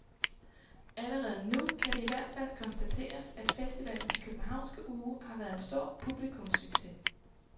Allerede nu kan det i hvert fald konstateres, at festivalens københavnske uge har været en stor publikumssucces.